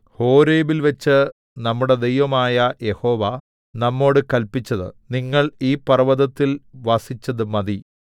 ഹോരേബിൽവച്ച് നമ്മുടെ ദൈവമായ യഹോവ നമ്മോട് കല്പിച്ചത് നിങ്ങൾ ഈ പർവ്വതത്തിൽ വസിച്ചത് മതി